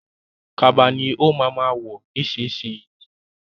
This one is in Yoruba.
Kaba ni ó ma ma ọ̀ nísinsìnyí